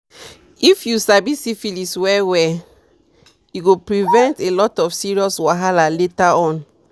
if u sabi syphilis well well e go prevent a lot of serious wahala later on